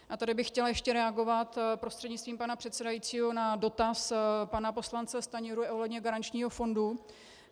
A tady bych chtěla ještě reagovat prostřednictvím pana předsedajícího na dotaz pana poslance Stanjury ohledně garančního fondu.